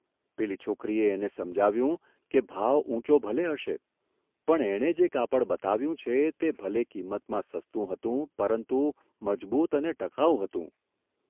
પેલી છોકરીએ એને સમજાવ્યું કે ભાવ ઊંચો ભલે હશે, પણ એણે જે કાપડ બતાવ્યું છે તે ભલે કિંમતમાં સસ્તું હતું, પરંતુ મજબૂત અને ટકાઉ હતું.